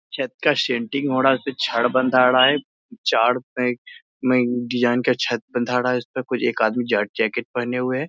छत का सेंट्रिंग हो रहा है। उसपे छड़ बंधा रहा है। चार पैक में डिजाइन का छत बंधा रहा है। उसमें कुछ एक आदमी जैके जाकेट पहने हुए है।